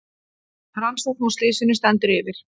Rannsókn á slysinu stendur yfir